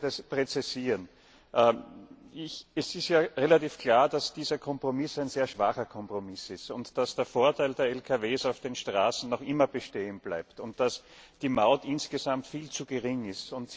Ich wollte etwas klarstellen Es ist ja relativ klar, dass dieser Kompromiss ein sehr schwacher Kompromiss ist, dass der Vorteil der Lkw auf den Straßen noch immer bestehen bleibt und dass die Maut insgesamt viel zu gering ist.